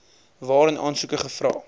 waarin aansoeke gevra